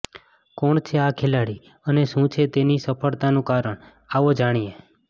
કોણ છે આ ખેલાડી અને શું છે તેની સફળતાનું કારણ આવો જાણીએ